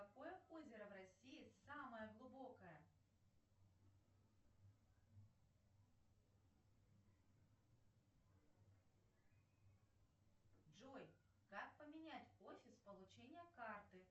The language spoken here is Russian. джой как поменять офис получения карты можно ли это сделать